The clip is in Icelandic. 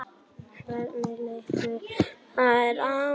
Hvernig litist þér á það?